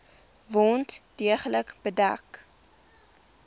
wond deeglik bedek